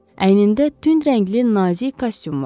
Əynində tünd rəngli nazik kostyum vardı.